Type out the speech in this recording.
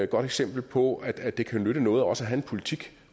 godt eksempel på at at det kan nytte noget også at have en politik